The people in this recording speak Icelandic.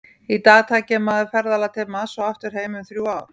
Í dag tæki mannað ferðalag til Mars og aftur heim um þrjú ár.